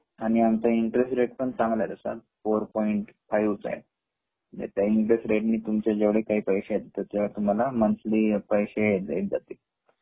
आणि आमचा interest rate पण चांगला आहे तसा फोर पोइंट फाइव्ह चा आहे जे काही इंटरेस्ट रेट ने तुमचे पैसे हो तसे तुम्हाला मंथली पैसे येत जातील